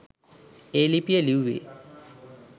ඒ ලිපිය ලිව්වේ.